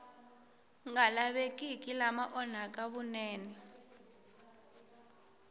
nga lavekiki lama onhaka vunene